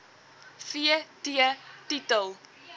v t titel